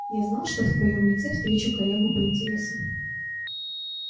я знал что в твоём лице встречу коллегу по интересам